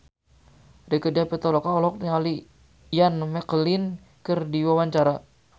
Rieke Diah Pitaloka olohok ningali Ian McKellen keur diwawancara